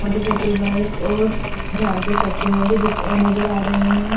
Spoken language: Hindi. मोटरसाइकिल बाइक और झाड़ के पत्तियों भी नजर आ रहे हैं।